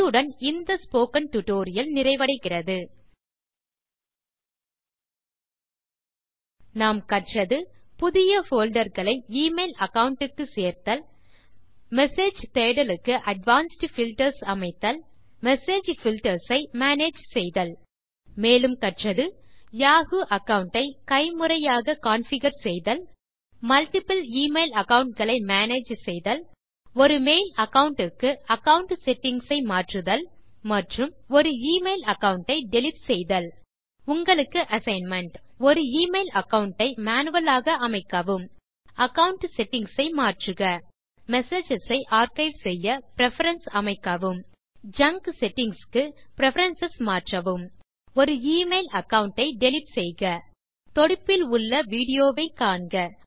இத்துடன் இந்த Mozilla Thunderbird 1002 tutorial நிறைகிறது இந்த டியூட்டோரியல் இல் கற்றது புதிய போல்டர் களை எமெயில் அகாவுண்ட் க்கு சேர்த்தல் மெசேஜஸ் தேடலுக்கு அட்வான்ஸ்ட் பில்டர்ஸ் அமைத்தல் மெசேஜ் பில்டர்ஸ் ஐ மேனேஜ் செய்தல் மேலும் கற்றது யாஹூ அகாவுண்ட் ஐ கைமுறையாக் கான்ஃபிகர் செய்தல் மல்ட்டிபிள் எமெயில் அகாவுண்ட் களை மேனேஜ் செய்தல் ஒரு மெயில் அகாவுண்ட் க்கு அகாவுண்ட் செட்டிங்ஸ் ஐ மாற்றுதல் மற்றும் ஒரு எமெயில் அகாவுண்ட் டை டிலீட் செய்தல் உங்களுக்கு அசைன்மென்ட் ஒரு எமெயில் அகாவுண்ட் ஐ மேனுவல் ஆக அமைக்கவும் அகாவுண்ட் செட்டிங்ஸ் ஐ மாற்றுக மெசேஜஸ் ஐ ஆர்க்கைவ் செய்ய பிரெஃபரன்ஸ் அமைக்கவும் ஜங்க் செட்டிங்ஸ் க்கு பிரெஃபரன்ஸ் மாற்றவும் ஒரு எமெயில் அகாவுண்ட் ஐ டிலீட் செய்க தொடுப்பில் உள்ள விடியோ வை காண்க